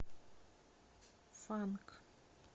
фанк